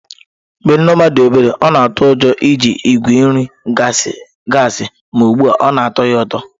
Mgbe Nneoma dị obere, ọ na-atụ ụjọ iji igwe nri gasi ma ugbu a ọ na-atọ ya ụtọ.